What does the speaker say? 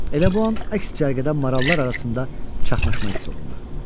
Elə bu an əks cərgədə marallar arasında çaxnaşma hiss olundu.